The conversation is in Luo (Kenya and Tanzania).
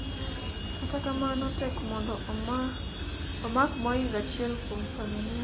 kata kamano ,tek mondo omak moingo achiel kuom familia